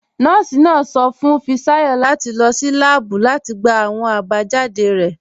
Nọọ̀sì náà sọ̀ fún Fisayo láti lọ́ sí làábù láti gbà awọn abajáde rẹ̀.